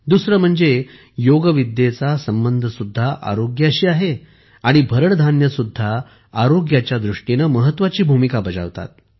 दुसरे म्हणजे योगविद्येचा संबंध सुद्धा आरोग्याशी आहे आणि भरड धान्ये सुद्धा आरोग्याच्या दृष्टीने महत्वाची भूमिका बजावतात